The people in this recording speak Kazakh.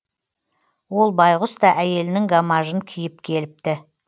ол байғұс та әйелінің гамажын киіп келіпті